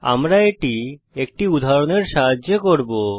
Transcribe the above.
আমরা এটি একটি উদাহরণের সাহায্যে করব